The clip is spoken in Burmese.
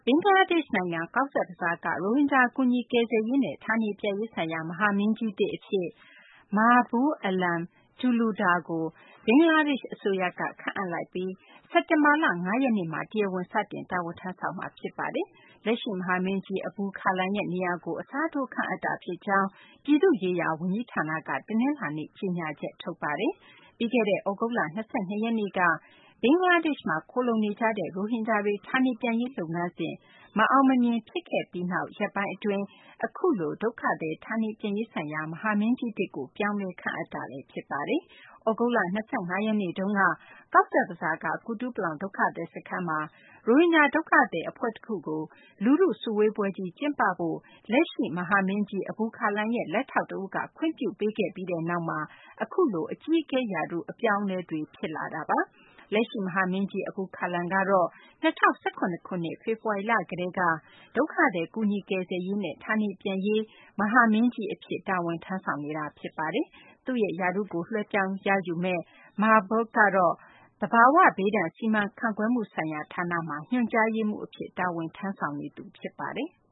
င်္ဂလားဒေရှ့် နိုင်ငံ ကောဇ့်ဘဇားက ရိုဟင်ဂျာ ကူညီကယ်ဆယ်ရေးနဲ့ ဌာနေပြန်ရေးဆိုင်ရာ မဟာမင်းကြီးသစ် အဖြစ် Mahbub Alam Talukder ကို ဘင်္ဂလားဒေရှ့် အစိုးရက ခန့်အပ်လိုက်ပြီး စက်တင်ဘာလ ၅ ရက်နေ့မှာ တရားဝင် စတင် တာဝန်ထမ်းဆောင်မှာ ဖြစ်ပါတယ်။ လက်ရှိမဟာမင်းကြီး Abul Kalam ရဲ့ နေရာကို အစားထိုး ခန့်အပ်တာ ဖြစ်ကြောင်း ပြည်သူ့ရေးရာ ဝန်ကြီးဌာနက တနလာၤနေ့က ကြေညာချက် ထုတ်ပါတယ်။ ပြီးခဲ့တဲ့ သြဂုတ်လ ၂၂ ရက်နေ့က ဘင်္ဂလားဒေရှ့်မှာ ခိုလှုံနေကြတဲ့ ရိုဟင်ဂျာတွေ ဌာနေပြန်ရေး လုပ်ငန်းစဉ် မအောင်မမြင် ဖြစ်ခဲ့ပြီးနောက် အခုလို ဒုက္ခသည် ဌာနေပြန်ရေးဆိုင်ရာ မဟာမင်းကြီးသစ်ကို ပြောင်းလဲ ခန့်အပ်တာ ဖြစ်ပါတယ်။ သြဂုတ်လ ၂၅ ရက်နေ့တုန်းက ကောဇ့်ဘဇားက ကုတူပလောင် ဒုက္ခသည် စခန်းမှာ ရိုဟင်ဂျာ ဒုက္ခသည် အဖွဲ့တခုကို လူထု စုဝေးပွဲကြီး ကျင်းပဖို့ အတွက် လက်ရှိ မဟာမင်းကြီး Abul Kalam ရဲ့ လက်ထောက် တဦးက ခွင့်ပြုပေးခဲ့ပြီးနောက်မှာ အခုလို အကြီးအကဲ ရာထူး အပြောင်းအလဲတွေ ဖြစ်လာတာပါ။ လက်ရှိ မဟာမင်းကြီး Abul Kalam က ၂၀၁၇ ခုနှစ် ဖေဖော်ဝါရီလက ကတည်းက ဒုက္ခသည် ကူညီ ကယ်ဆယ်ရေးနဲ့ ဌာနေပြန်ရေး ကော်မရှင်နာ မင်းကြီး အဖြစ် တာဝန်ထမ်းဆောင်နေတာ ဖြစ်ပါတယ်။ သူ့ရဲ့ ရာထူးကို လွှဲပြောင်းယူမယ့် Mahbub Alam Talukder ကတော့ သဘာ၀ ဘေးဒဏ် စီမံခန့်ခွဲမှု ဆိုင်ရာ ဌာနမှာ ညွှန်ကြားရေးမှူး အဖြစ် တာဝန်ထမ်းဆောင်နေတာ ဖြစ်ပါတယ်။